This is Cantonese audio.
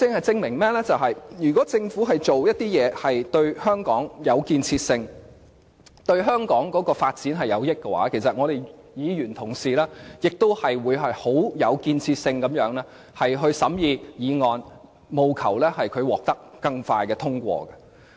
這可證明，如果政府做的事是對香港有建設性，對香港發展有益，其實立法會議員同事亦會很有建設性地審議議案，務求令議案更迅速地獲得通過。